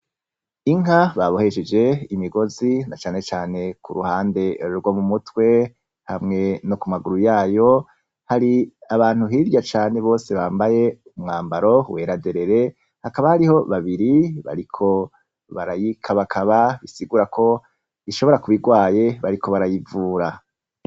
Inka babohesheje imigozi na canecane ku ruhande rwo mu mutwe, hamwe no ku maguru yayo, hari abantu hirya cane bose bambaye umwambaro wera derere, hakaba hariho babiri bariko barayikabakaba, bisigura ko ishobora kuba igwaye bariko barayivura.